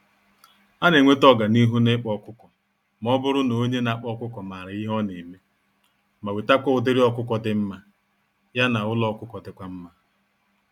Anenweta ọganihu n'ịkpa ọkụkọ, mọbụrụ n'onye nakpa ọkụkọ màrà ihe oneme, ma wetakwa ụdịrị ọkụkọ dị mmá, ya na ụlọ ọkụkọ dịkwa mma.